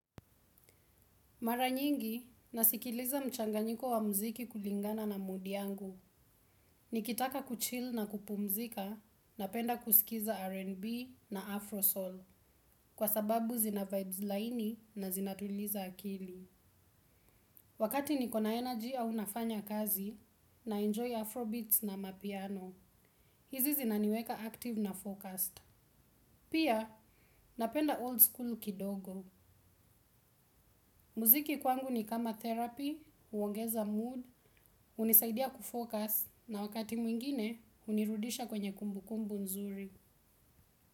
Mara nyingi, nasikiliza mchanganyiko wa mziki kulingana na mudi yangu. Nikitaka kuchill na kupumzika, napenda kusikiza R&B na Afro Soul. Kwa sababu zina vibes line na zinatuliza akili. Wakati nikona energy au nafanya kazi, naenjoy Afro Beats na amapiano. Hizi zinaniweka active na focused. Pia, napenda old school kidogo. Muziki kwangu ni kama therapy, huongeza mood, hunisaidia kufocus na wakati mwingine hunirudisha kwenye kumbukumbu nzuri.